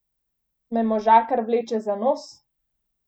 Me možakar vleče za nos?